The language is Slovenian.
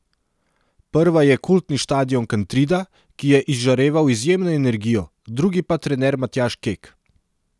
Prva je kultni štadion Kantrida, ki je izžareval izjemno energijo, drugi pa trener Matjaž Kek.